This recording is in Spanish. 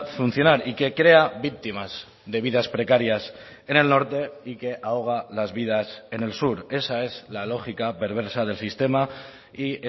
funcionar y que crea víctimas de vidas precarias en el norte y que ahoga las vidas en el sur esa es la lógica perversa del sistema y